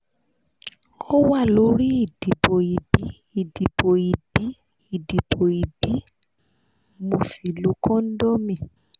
o wa lórí idibo ibí idibo ibí idibo ibí ko sí lo condom